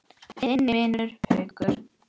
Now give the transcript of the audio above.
Þinn vinur, Haukur.